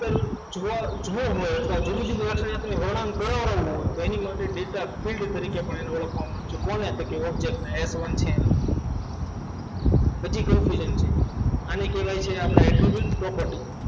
જુઓ જોવાનું હોય તો જુદી જુદી લાક્ષણિકતાઓના વડામાં કોનો હોય તો એની માટે ડેલ્ટા fill તરીકે પણ ઓળખવામાં આવે છે તો કોને તો કે object એને કે હજી confusion છે આને કહેવાય છે આપણે entry bit property